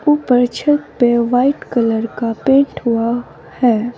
ऊपर छत पे वाइट कलर का पेंट हुआ है।